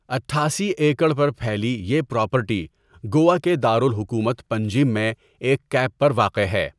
اٹھاسی ایکڑ پر پھیلی یہ پراپرٹی گوا کے دارالحکومت پنجیم میں ایک کیپ پر واقع ہے۔